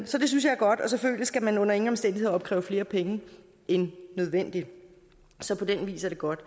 så det synes jeg er godt og selvfølgelig skal man under ingen omstændigheder opkræve flere penge end nødvendigt så på den vis er det godt